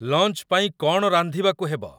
launch ପାଇଁ କ'ଣ ରାନ୍ଧିବାକୁ ହେବ